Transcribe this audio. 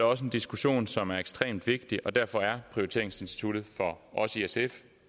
også en diskussion som er ekstremt vigtig og derfor er prioriteringsinstituttet for os i sf